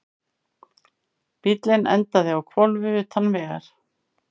Bíllinn endaði á hvolfi utan vegar